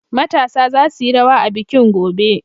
Matasa za su yi rawa a bikin, gobe!